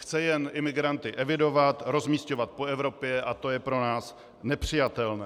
Chce jen imigranty evidovat, rozmisťovat po Evropě a to je pro nás nepřijatelné.